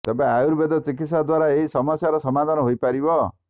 ତେବେ ଆୟୁର୍ବେଦ ଚିକିତ୍ସା ଦ୍ୱାରା ଏହି ସମସ୍ୟାର ସମାଧାନ ହୋଇପାରିବ